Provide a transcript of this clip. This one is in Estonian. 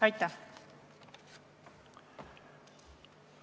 Aitäh!